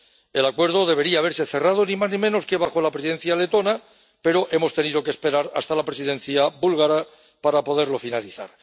El acuerdo debería haberse cerrado ni más ni menos que bajo la Presidencia letona, pero hemos tenido que esperar hasta la Presidencia búlgara para poderlo finalizar.